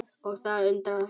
Og það undra hratt.